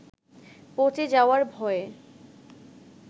পচে যাওয়ার ভয়ে